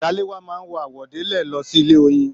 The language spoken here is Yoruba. Salewa máa n àwọ̀délẹ̀ lọ sílé oyin.